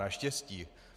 Naštěstí.